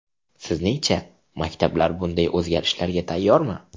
Sizningcha, maktablar bunday o‘zgarishlarga tayyormi?